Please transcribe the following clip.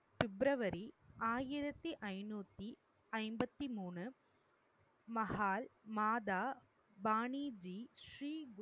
பிப்ரவரி ஆயிரத்தி ஐநூத்தி ஐம்பத்தி மூணு, மஹால் மாதா பாணிஜி ஸ்ரீ